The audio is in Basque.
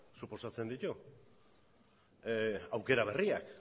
suposatzen ditu aukera berriak